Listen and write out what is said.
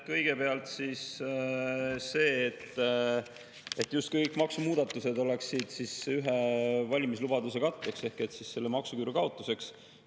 Kõigepealt see, justkui kõik maksumuudatused oleksid ühe valimislubaduse katteks ehk siis selle maksuküüru kaotuseks.